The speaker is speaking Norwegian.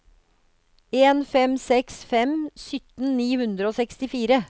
en fem seks fem sytten ni hundre og sekstifire